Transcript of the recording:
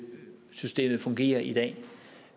fungerer i dag